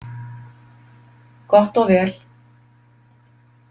Gott og vel.